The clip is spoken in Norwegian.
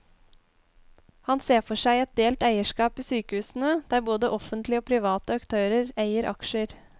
Han ser for seg et delt eierskap i sykehusene, der både offentlige og private aktører eier aksjer.